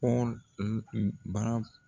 Pɔl baara